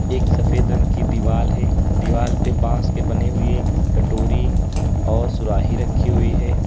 एक सफेद रंग की दीवाल है दीवाल पर बास के बने हुए कटोरी और सुराही रखी हुई है।